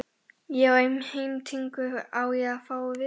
Ég á heimtingu á að fá að vita það.